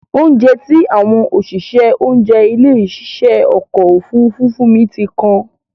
Óunjẹ tí àwọn òṣìṣẹ́ oúnjẹ ilé ìṣe ọkọ̀ Òfurufú fún mi ti kan.